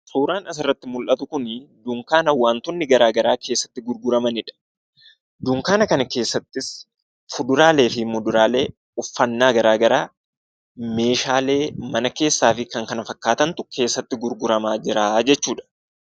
Suuraan asi gaditii mul'atu kun dunkaana wantoonni garaagaraa keessatti gurguramanidha. Dunkaana kana keessattis fuduraalee fi kuduraalee uffannaa garaagaraa meeshaalee mana keessaa fi kan kana fakkaatantu keessatti gurguramaa jira jechuudha.